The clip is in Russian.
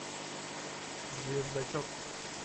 звездочет